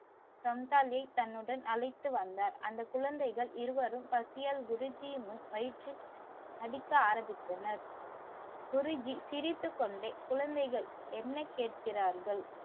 சம்சாரியை தன்னுடன்அழைத்து வந்த அந்த குழந்தைகள் இருவரும் பசியால் குருஜீயின் முன் வயிற்றை அடிக்க ஆரம்பித்தனர். குருஜீ சிரித்து கொண்டே குழந்தைகள் என்ன கேக்கிறார்கள்.